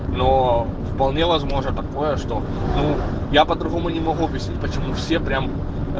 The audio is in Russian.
но вполне возможно такое что ну я по-другому не могу объяснить почему все прям